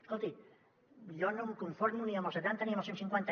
escolti jo no em conformo ni amb el setanta ni amb els cent cinquanta